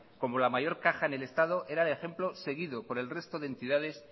como la mayor caja en el estado era el ejemplo seguido por el resto de entidades